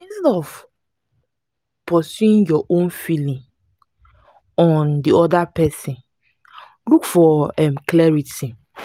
instead of pusing your own feelings on di oda person look for um clarity